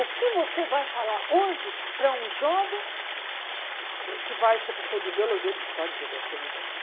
O que você vai falar hoje para um jovem que vai ser professor de biologia, de história, de geografia, não importa.